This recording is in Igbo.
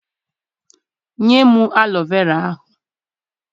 Nye m alọ vera ahụ!